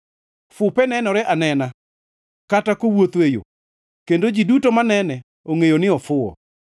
Fupe nenore anena kata kowuotho e yo, kendo ji duto manene ongʼeyo ni ofuwo.